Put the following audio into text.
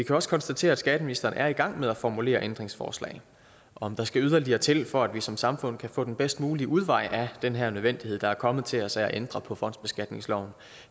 jo også konstatere at skatteministeren er i gang med at formulere ændringsforslag om der skal yderligere til for at vi som samfund kan få den bedst mulige udvej af den her nødvendighed der er kommet til os af at ændre på fondsbeskatningsloven